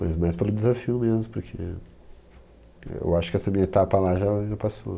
Mas mais pelo desafio mesmo, porque... eu acho que essa minha etapa lá já, já passou.